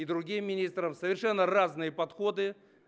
и другим министром совершенно разные подходы